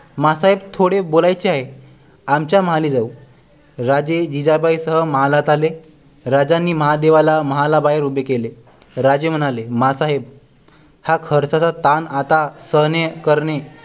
माँ साहेब थोडे बोलायचे आहे आमच्या महाली जावू राजे जिजाबाई सह महालात आले राजांनी महादेवाला महाला बाहेर उभे केले राजे म्हणाले माँ साहेब हा खर्चाचा ताण आता सहन करणे